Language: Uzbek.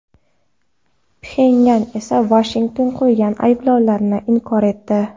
Pxenyan esa Vashington qo‘ygan ayblovlarni inkor etdi.